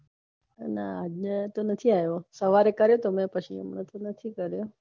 ના આજે તો નથી આવ્યો સવારે કર્યો તો મેં પછી નથી કર્યો